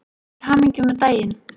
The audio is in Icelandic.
Til hamingju með daginn.